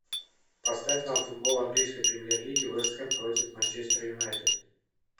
поставь нам футбол английской премьер лиги вест хэм против манчестер юнайтед